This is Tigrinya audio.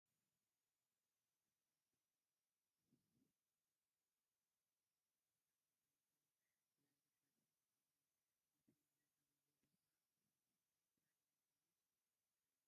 ብዙሓት ህፃውንቲ ተሰብሲቦም ይጫወቱ ኣለዉ ። ኣብ ቕድሚኦም ደው ዝበለ ሓፂን ኣሎ ። እቲ ዘለውዎ ቦታ ስታድየም ድዩስ ካልእ ?